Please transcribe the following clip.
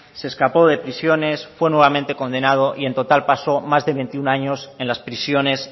se escapó de prisiones fue nuevamente condenado y en total pasó más de veintiuno años en las prisiones